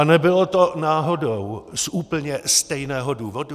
A nebylo to náhodou z úplně stejného důvodu?